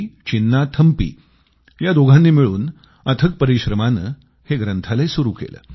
चिन्नाथम्पी या दोघांनी मिळून अथक परिश्रमानं हे ग्रंथालय सुरू केलं